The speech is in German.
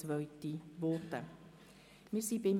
7.b Gemeinden Kürzung Fusionsbeiträge (Massnahme 45.4.1)